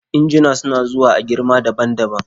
injuna suna zuwa a girma daban daban